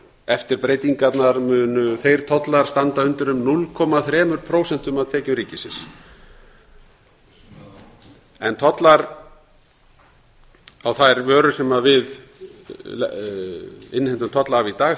eftir breytingarnar munu þeir tollar standa undir um núll komma þrjú prósent af tekjum ríkisins tollar á þær vörur sem við innheimtum tolla af í dag